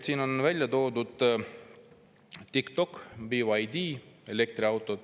Siin on välja toodud TikTok ja BYD elektriautod.